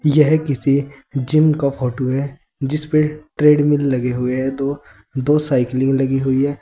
यह किसी जिम का फोटो है जिसमें ट्रेडमिल लगे हुए हैं तो दो साइकिलिंग लगी हुई है।